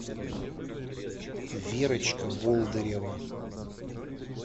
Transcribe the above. верочка болдырева